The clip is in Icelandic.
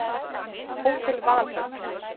Hótel Valhöll